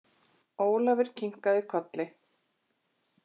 Ólafur kinkaði kolli.